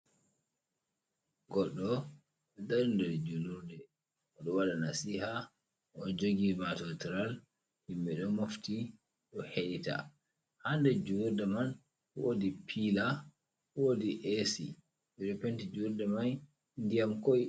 Goɗɗo ɗo dari nder julurde oɗo wada nasiha oɗo jogi matotiral himɓe do mofti do hedita ha nder julurde man wadi pila wodi esi ɓe ɗo penti julurde man ndiyam koi.